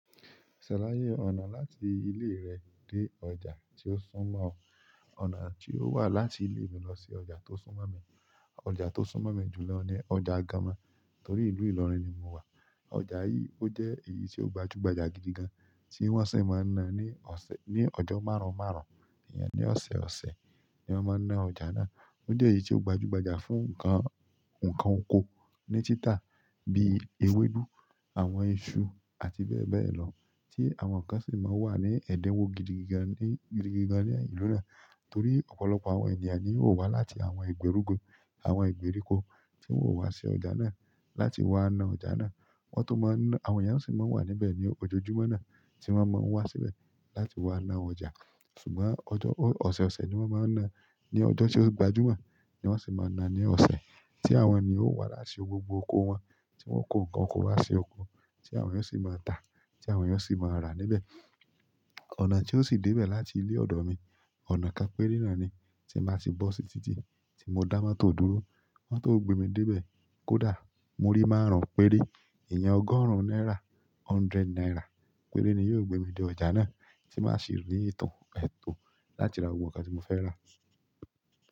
Ṣàlàyé ọ̀nà láti ìlé rẹ dé ọjà tí ó súnmọ́ ọ. Ọ̀nà tí ó wà láti ilé mi lọ sí ọjà tó súnmọ́ mi, ọjà tó súnmọ́ mi jù lọ ni ọjà Àgámà torí ìlú Ìlọrin ni mo wà. Ọjà yìí ó jẹ́ èyí tí ó gbajúgbajà gidigan tí wọ́n sì máa ń ná ní ọ̀sẹ̀-- ní ọjọ́ márùn-ún márùn-ún, ìyẹn ní ọ̀sẹ̀ ọ̀sẹ̀ ni wọ́n máa ń ná ọjà náà. Ó jẹ́ èyí tí ó gbajúgbajà fún nǹkan, nǹkan oko ní títa bíi ewédú, àwọn iṣu àti bẹ́ẹ̀ bẹ́ẹ̀ lọ tí àwọn kan sì máa ń wà ní ẹ̀dínwó gidigan ni, gidigan ní ìlú náà torí ọ̀pọ̀lọpọ̀ àwọn ènìyàn ni yóò wá láti àwọn ìgbèríko, àwọn ìgbèríko tí wọn o wá sí ọjà náà láti wá na ọjà náà. Wọ́n tó máa ń ná, àwọn ènìyàn sì máa ń wà níbẹ̀ ní ojoojúmọ́ náà tí wọ́n máa ń wá síbẹ̀ láti wá ná ọjà. Ṣùgbọ́n ọjo, ọ̀sẹ̀ ọ̀sẹ̀ ni wọ́n máa ń ná. Ní ọjọ́ tí ó gbajúmọ̀ ni wọ́n sì máa na ní ọ̀sẹ̀ tí àwọn ènìyàn ó wá láti gbogbo oko wọn tí wọn o kó nǹkan oko wá sí oko tí àwọn èèyàn sì máa tà tí àwọn ènìyàn sì máa rà níbẹ̀. Ọ̀nà tí ó sì dé ibẹ̀ láti ilé ọ̀dọ̀ mi, ọ̀nà kan péré náà ni tí n ba ti bọ́ sí títí tí mo dá mọ́tò dúró. Mọ́tò o gbé mi dé ibẹ̀, kódà muri márùn-ún péré, iyen ọgọ́rùn-ún náírà, hundred náírà péré ni yóò gbé mi dé ọjà náà tí màá sì rí tàn láti ra gbogbo nǹkan tí mo fẹ́ rà.